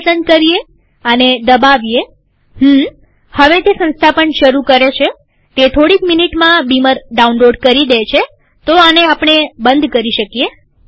આ પસંદ કરીએઆને દબાવીએહુમ્મહવે તે સંસ્થાપન શરુ કરે છેતે થોડીક મીનીટમાં બીમર ડાઉનલોડ કરી દે છેતો આને આપણે બંધ કરી શકીએ